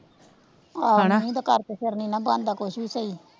ਆਹੋ ਹਣਾ ਮੀਂਹ ਦੇ ਕਰ ਫੇਰ ਨੀ ਨਾਂ ਬਣਦਾ ਕੁੱਛ ਵੀ ਸਹੀ,